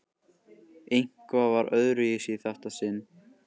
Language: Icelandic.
Eitthvað var öðruvísi í þetta sinn.